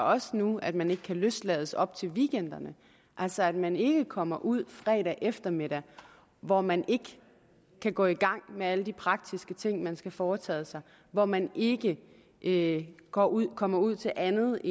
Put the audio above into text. også nu at man ikke kan løslades op til weekenderne altså at man ikke kommer ud fredag eftermiddag hvor man ikke kan gå i gang med alle de praktiske ting man skal have foretaget hvor man ikke ikke kommer ud kommer ud til andet